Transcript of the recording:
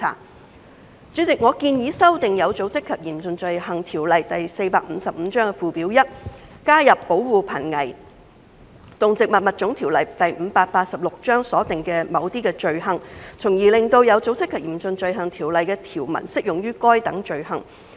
代理主席，我建議修訂《有組織及嚴重罪行條例》附表 1， 以加入《保護瀕危動植物物種條例》所訂的某些罪行，從而使《有組織及嚴重罪行條例》的條文適用於該等罪行。